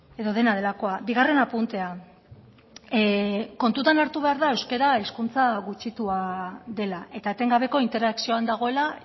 edo dena delakoa bigarren apuntea kontutan hartu behar da euskara hizkuntza gutxitua dela eta etengabeko interakzioan dagoela